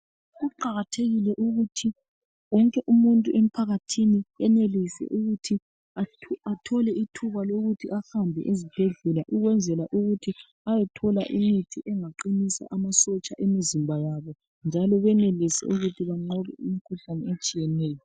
Kuqakathekile ukuthi wonke umuntu emphakathini enelise ukuthi athole ithuba lokuthi ahambe esibhedlela ukwenzela ukuthi ayethola imithi engaqinisa amasotsha emizimba yabo njalo benelise ukuthi banqobe imikhuhlane etshiyeneyo.